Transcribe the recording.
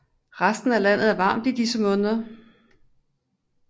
Resten af landet er varmt i disse måneder